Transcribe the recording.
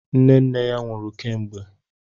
Nne nne ya nwụrụ kemgbe.